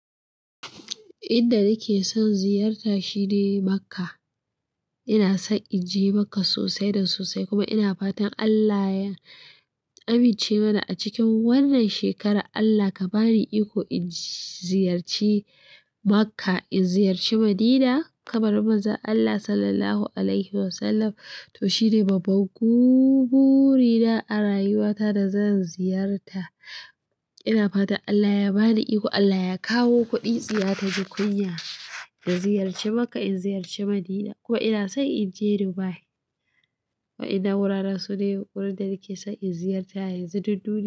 Inda nake son ziyarta shine Makka. Ina son in je Makka sosai da sosai kuma ina fatan Allah ya amince mana a cikin wannan shekara. Allah ka ba ni iko in ziyarci Makka, in ziyarci Madina, kabarin Manzon Allah Sallallahu Alaihi Wasallam. To shine babban gubu rina a rayuwa ta da zan ziyarta. Ina fatan Allah ya ba ni iko, Allah ya kawo kuɗi tsiya ta ji kunya, in ziyarci Makka, in ziyarci Madina ko ina son in je Dubai. Wa'innan wuraren su ne wurin da nake son in ziyarta a yanzu duk duniya.